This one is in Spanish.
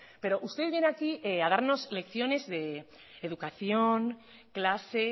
pero usted viene aquí a darnos lecciones de educación clase